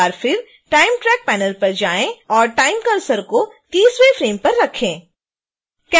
एक बार फिर time track panel पर जाएं और time cursor को 30वें फ्रेम पर रखें